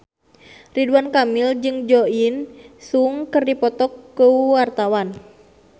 Ridwan Kamil jeung Jo In Sung keur dipoto ku wartawan